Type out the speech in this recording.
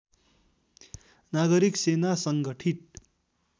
नागरिक सेना सङ्गठित